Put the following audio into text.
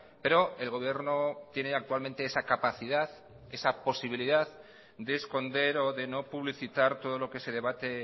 pero el gobierno tiene actualmente esa capacidad esa posibilidad de esconder o de no publicitar todo lo que se debate